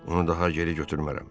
Onu daha geri götürmərəm.